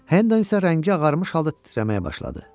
Hendon isə rəngi ağarmış halda titrəməyə başladı.